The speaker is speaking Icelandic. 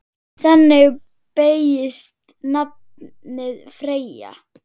Þannig beygist nafnið Freyja